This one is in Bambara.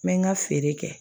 N bɛ n ka feere kɛ